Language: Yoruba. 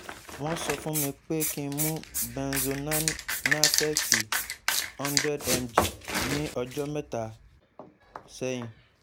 won so fun mi pe ki n mu benzonante hundred mg ni ojo meta